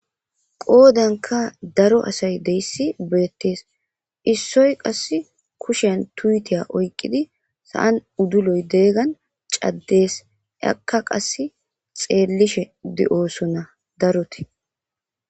Qoodanka daro asay deyssi beettees issoy qass kushen tuyitiya oykqidi sa7an udduloy deeggan caddees akka qas xeellishe di7oosona darote